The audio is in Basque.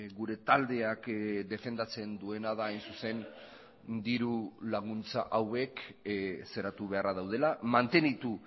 gure taldeak defendatzen duena da hain zuzen dirulaguntza hauek zeratu beharra daudela mantenitu